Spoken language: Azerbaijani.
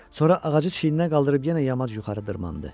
Sonra ağacı çiyninə qaldırıb yenə yamaç yuxarı dırmaşdı.